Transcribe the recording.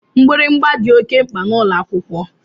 Mgbịrịgba dị oké mkpa n'ụlọakwụkwọ